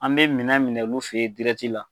An mɛ minɛn minɛ olu fɛ ye la.